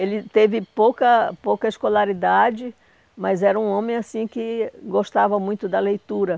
Ele teve pouca pouca escolaridade, mas era um homem, assim, que gostava muito da leitura.